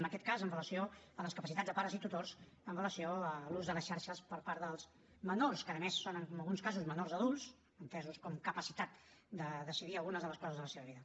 en aquest cas amb relació a les capacitats de pares i tutors amb relació a l’ús de les xarxes per part dels menors que a més són en alguns casos menors adults entesos com capacitats per decidir algunes de les coses de la seva vida